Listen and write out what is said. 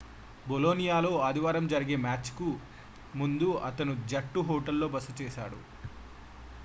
బొలోనియాతో ఆదివారం జరిగే మ్యాచ్ కు ముందు అతను జట్టు హోటల్ లో బస చేశాడు